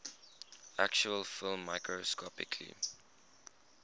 actual film microscopically